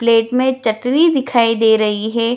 Plate में चटनी दिखाई दे रही है।